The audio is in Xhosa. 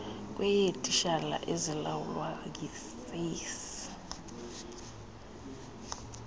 kweyeetitshala ezilawulwa yisace